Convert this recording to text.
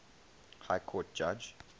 high court judge